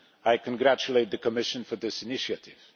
I congratulate the Commission for this initiative.